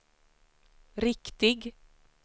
riktig